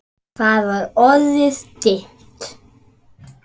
Það var orðið dimmt.